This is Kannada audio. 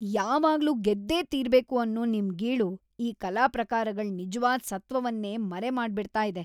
ಯಾವಾಗ್ಲೂ ಗೆದ್ದೇ ತೀರ್ಬೇಕು ಅನ್ನೋ ನಿಮ್ ಗೀಳು ಈ ಕಲಾ ಪ್ರಕಾರಗಳ್ ನಿಜ್ವಾದ್ ಸತ್ತ್ವವನ್ನೇ ಮರೆಮಾಡ್ಬಿಡ್ತಾ ಇದೆ.